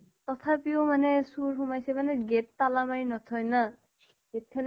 তথাপিও মানে চুৰ সোমাইছে মানে gate তালা মাৰি নথয় ন। gate খ্ন